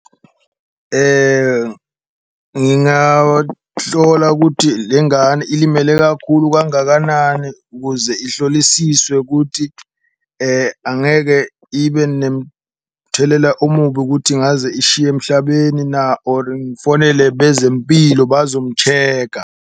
Ngingahlola kuthi le ngane ilimele kakhulu kangakanani kuze ihlolisiswe kuthi angeke ibe nemthelela omubi kuthi ngaze ishiye emhlabeni na, or ngifonele bezempilo bazomu-check-a.